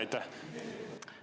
Aitäh!